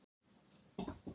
Það er mjög skemmtilegt.